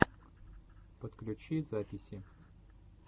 подключи записи